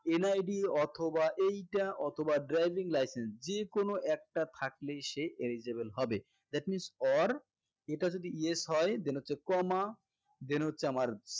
NID অথবা এইটা অথবা driving license যেকোনো একটা থাকলেই সে eligible হবে that means or এটা যদি yes হয় then হচ্ছে comma then হচ্ছে আমার